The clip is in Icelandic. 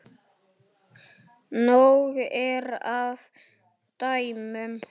Nóg er af dæmum.